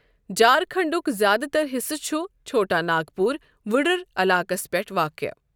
جھارکھنٛڈُک زیادٕ تر حِصہٕ چُھ چھوٹا ناگپوٗر وٗڈٕر علاقس پٮ۪ٹھ واقع۔